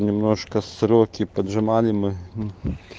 немножко сроки поджимали мы